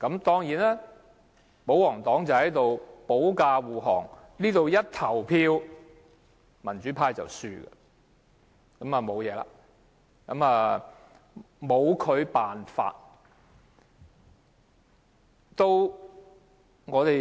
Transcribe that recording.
當然，保皇黨會保駕護航，投票時，民主派會落敗，拿他沒法。